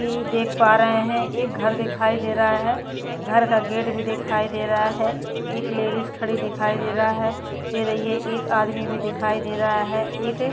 देख पा रहे है एक घर दिखाई दे रहा है घर का गेट भी दिखाई दे रहा है एक लेडीज भी खड़ी दिखाई दे रहा है एक आदमी भी दिखाई दे रहा है एक --